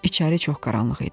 İçəri çox qaranlıq idi.